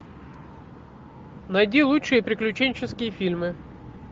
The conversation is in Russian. найди лучшие приключенческие фильмы